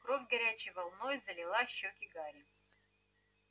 кровь горячей волной залила щёки гарри